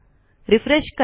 refresh करा